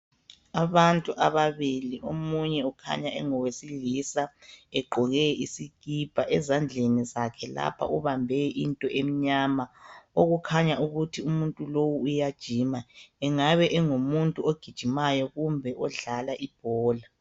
Abantu ababili. Omunye ukhanya engowesilisa. Egqoke isikipa. Ezandleni zakhe lapha ubambe into emnyama. Okukhanya ukuthi umuntu lowu uyajima. Kungabe engumuntu ogijimayo, kumbe odlala ibhola.